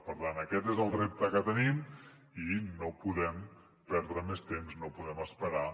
per tant aquest és el repte que tenim i no podem perdre més temps no podem esperar